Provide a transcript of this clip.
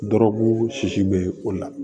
Dɔrɔgu sisi bɛ o la